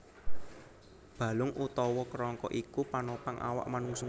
Balung utawa kerangka iku panopang awak manungsa